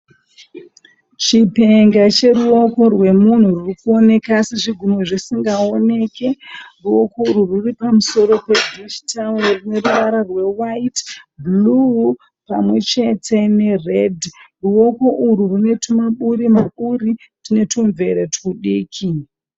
Chipenge cheruoko rwemunhu rwuri kuoneka asi zvigunwe zvisingaoneke, ruoko urwu rwuri pamusoro pedhishi tawuru rine ruvara rwewaiti, bhuruu pamwe chete neredhi ruoko urwu rwune tumaburi maburi tune tumvere tudiki.